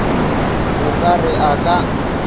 o ka re a ka